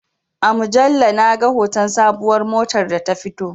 A mujalla na ga hoton sabuwar motar da ta fito